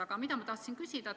Aga ma tahan küsida seda.